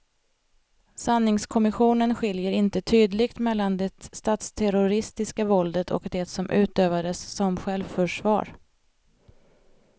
Sanningskommissionen skiljer inte tydligt mellan det statsterroristiska våldet och det som utövades som självförsvar.